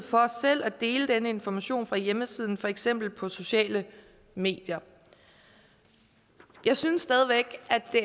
for selv at dele denne information fra hjemmesiden for eksempel på sociale medier jeg synes stadig væk at det